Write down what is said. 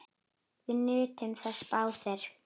Við nutum þess báðir.